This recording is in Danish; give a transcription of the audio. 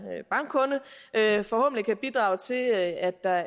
bankkunde forhåbentlig kan det bidrage til at der